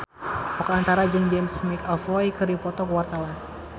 Oka Antara jeung James McAvoy keur dipoto ku wartawan